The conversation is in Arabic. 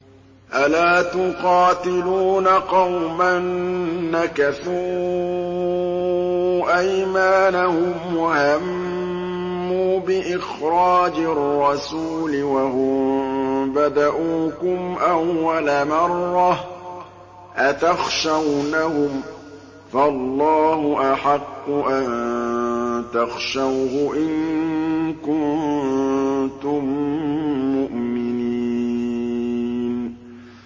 أَلَا تُقَاتِلُونَ قَوْمًا نَّكَثُوا أَيْمَانَهُمْ وَهَمُّوا بِإِخْرَاجِ الرَّسُولِ وَهُم بَدَءُوكُمْ أَوَّلَ مَرَّةٍ ۚ أَتَخْشَوْنَهُمْ ۚ فَاللَّهُ أَحَقُّ أَن تَخْشَوْهُ إِن كُنتُم مُّؤْمِنِينَ